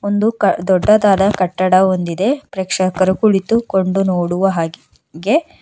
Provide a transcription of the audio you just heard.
ಒಂದು ಕ ದೊಡ್ಡದಾದ ಕಟ್ಟಡ ಒಂದಿದೆ ಪ್ರೇಕ್ಷಕರು ಕುಳಿತು ಕೊಂಡು ನೋಡುವ ಹಾಗ್ ಗೆ.